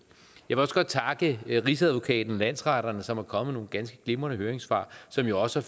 jeg vil også godt takke rigsadvokaten og landsretterne som er kommet med nogle ganske glimrende høringssvar som jo også